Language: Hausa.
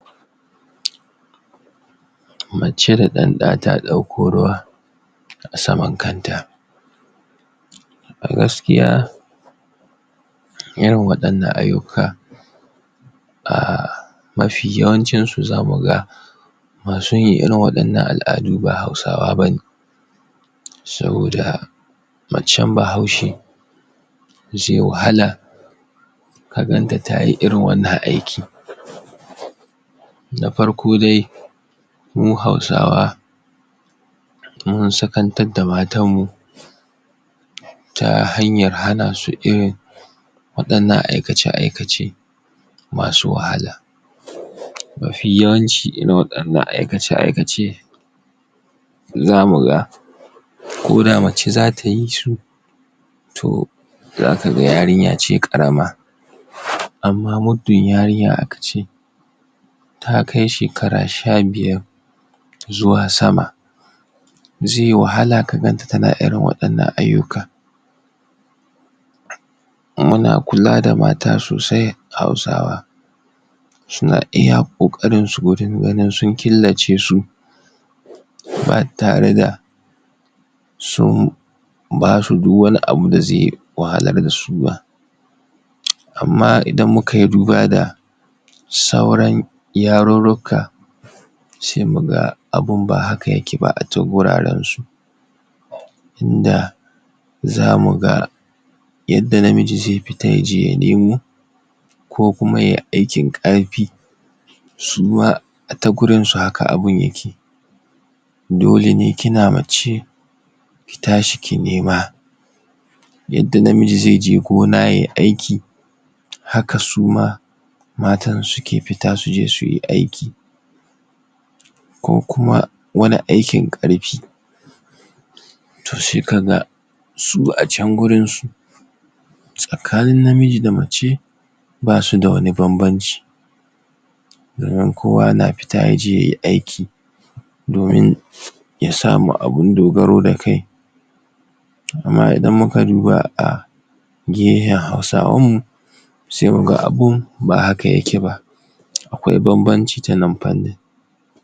Mace da ɗanɗa ta ɗauko ruwa a saman kanta a gaskiya irin waɗannan ayyuka a mafi yawancinsu za mu ga masu yin irin waɗannan al'adu ba Hausawa ba ne. saboda macen Bahaushe zai wahala ka ganta ta yi irin wannan aiki Na farko da mu Hausawa mun Hausantakar da matanmu ta hanyar hana su irin waɗannan aikace-aikace masu wahala. mafiyawanci irin waɗannan aikace-aikace za mu ga ko da mace za ta yi su to za ka ga yarinya ce ƙarama. Amma muddin yarinya aka ce Ta kai shekara sha biyar zuwa sama zai wahala ka gan ta tana irin waɗannan ayyuka. Muna kula da mata sosai Hausawa. suna iya ƙoƙarinsu wajen ganin sun killace su. ba tare da sun ba su duk wani abu da zai wahalar da su ba. amma idan mu kai duba da sauran yarurruka sai muga abun ba haka yake ba a can gurarensu. in da za mu ga yadda namiji zai fita ya je ya nemo ko kuma ya yi aikin ƙarfi su ma ta gurinsu haka abun yake dole ne kina mace ki tashi ki nema yadda namiji zai je gona yai aiki haka suma matan suke fita su je su yi aiki. ko kuma wani aikin ƙarfi To sai ka ga su acan wurinsu, tsakanin namiji da mace ba su da wani bambanci domin kowa na fita ya je ya yi aiki. domin ya samu abin dogaro da kai Amma idan muka duba a biyayyan Hausawanmu sai mu ga abun ba haka yake ba. akwai bambanci ta nan fannin.